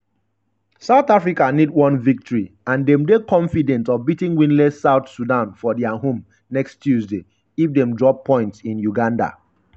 south africa need one victory and dem dey confident of beating winless south sudan for dia home next tuesday if dem drop points in uganda.